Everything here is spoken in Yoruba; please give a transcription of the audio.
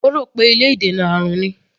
Ó rò pé ilé ìdènà àrùn ni.